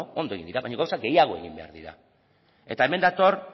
ondo egin dira baina gauza gehiago egin behar dira eta hemen dator